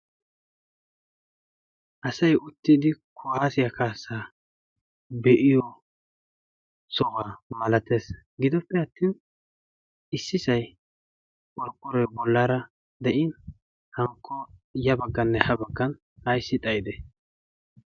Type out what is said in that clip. Asayi uttidi kuwaasiya kaassaa be"iyo sohuwa malates gidoppe attin issisayi qorqqoroyi bollaara de"in hankko ya bagganne ha baggan ayssi xayidee?